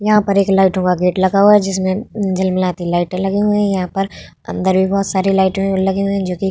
यहाँ पर एक लाइट वाला गेट लगा हुआ है जिसमे झीलमिलाती लाइटे लगी हुई है यहाँ पर अन्दर भी बहुत सारी लाइटे लगी हुई है जो कि --